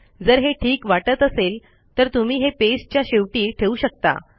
जर हे ठीक वाटत असेल तर तुम्ही हे पेजच्या शेवटी ठेऊ शकता